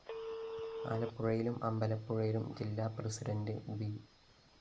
ആലപ്പുഴയിലും അമ്പലപ്പുഴയിലും ജില്ലാ പ്രസിഡന്റ് ബി